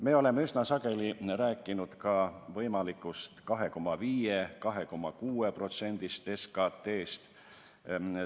Me oleme üsna sageli rääkinud ka võimalikust näitajast 2,5–2,6% SKT-st.